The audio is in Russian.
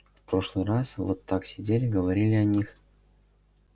в прошлый раз вот так сидели говорили о них